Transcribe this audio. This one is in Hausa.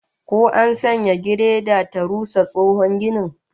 Ko an sanya gireda ta rusa tsohon ginin?